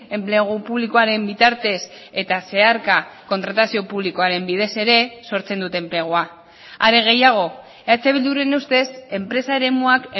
enplegu publikoaren bitartez eta zeharka kontratazio publikoaren bidez ere sortzen dute enplegua are gehiago eh bilduren ustez enpresa eremuak